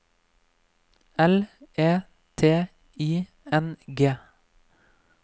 L E T I N G